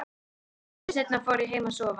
Stuttu seinna fór ég heim að sofa.